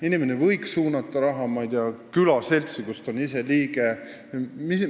Inimene võiks suunata raha külaseltsi, mille liige ta ise on.